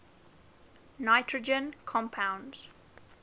nitrogen compounds